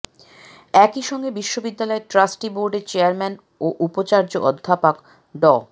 একই সঙ্গে বিশ্ববিদ্যালয়ের ট্রাস্টি বোর্ডের চেয়ারম্যান ও উপাচার্য অধ্যাপক ড